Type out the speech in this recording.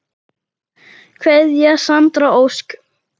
Kveðja Sandra Ósk.